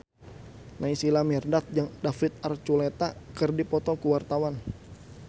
Naysila Mirdad jeung David Archuletta keur dipoto ku wartawan